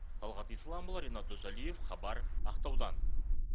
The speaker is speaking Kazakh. талғат исламұлы ренат дүсалиев хабар ақтаудан